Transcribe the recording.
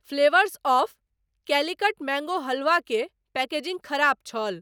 Flavours of Calicut mango halwa के packaging खराब छल।